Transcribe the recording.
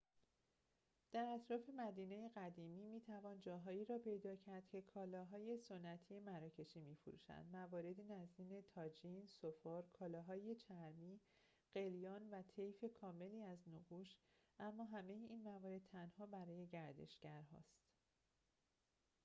در اطراف مدینه قدیمی می‌توان جاهایی را پیدا کرد که کالاهای سنتی مراکشی می‌فروشند مواردی نظیر طاجین سفال کالاهای چرمی قلیان و طیف کاملی از نقوش اما همه این موارد تنها برای گردشگرهاست